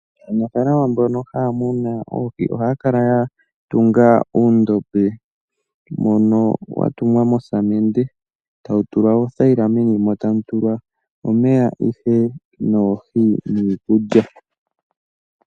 Aanafaalama mbono haya munu oohi ohaya kala ya tunga uudhiya mbono wa tungwa mosamende tawutulwa othayila meni mo tamu tulwa omeya noohi niikulya .